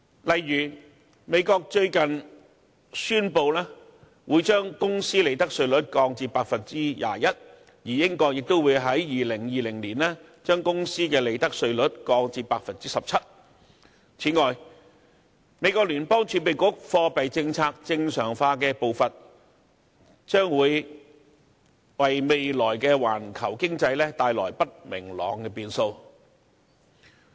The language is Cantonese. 例如美國最近宣布會將公司利得稅率降至 21%， 而英國亦會在2020年將公司利得稅率降至 17%， 此外，美國聯邦儲備局貨幣政策正常化的步伐，將會為未來的環球經濟帶來不明朗的變數。